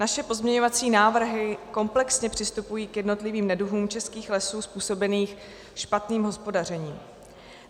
Naše pozměňovací návrhy komplexně přistupují k jednotlivým neduhům českých lesů způsobeným špatným hospodařením.